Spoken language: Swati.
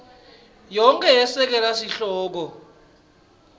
yonkhe yesekela sihloko